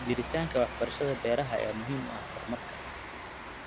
Jiritaanka waxbarashada beeraha ayaa muhiim u ah horumarka.